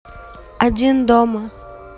один дома